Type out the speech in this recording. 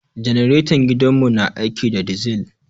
Janaretan gidan mu na aiki da dizil